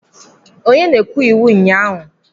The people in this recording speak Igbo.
Onye na-ekwu iwu ịnye aha?